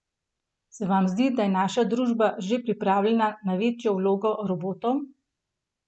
Se vam zdi, da je naša družba že pripravljena na večjo vlogo robotov?